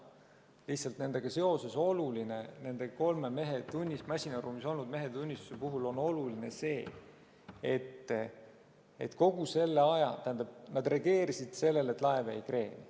Lihtsalt nendega seoses, nende kolme masinaruumis olnud mehe tunnistuse puhul on oluline, et nad reageerisid sellele, et laev vajus kreeni.